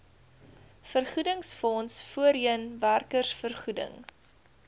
vergoedingsfonds voorheen werkersvergoeding